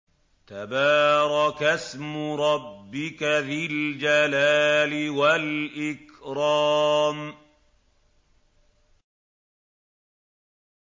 تَبَارَكَ اسْمُ رَبِّكَ ذِي الْجَلَالِ وَالْإِكْرَامِ